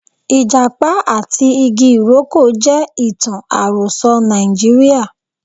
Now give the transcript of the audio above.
Ijapa ati igi iroko je itan aroso Naijiria.